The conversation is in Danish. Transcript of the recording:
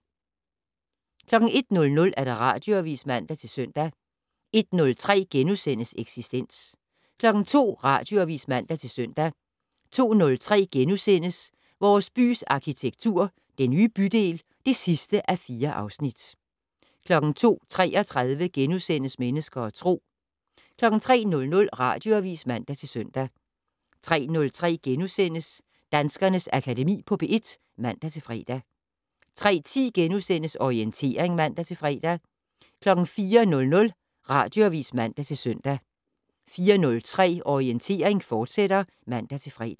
01:00: Radioavis (man-søn) 01:03: Eksistens * 02:00: Radioavis (man-søn) 02:03: Vores bys arkitektur - Den nye bydel (4:4)* 02:33: Mennesker og Tro * 03:00: Radioavis (man-søn) 03:03: Danskernes Akademi på P1 *(man-fre) 03:10: Orientering *(man-fre) 04:00: Radioavis (man-søn) 04:03: Orientering, fortsat (man-fre)